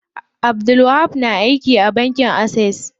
Abdulwahab na aiki a bankin Access.